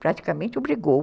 Praticamente obrigou.